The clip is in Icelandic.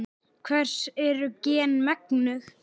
Hvers eru gen megnug?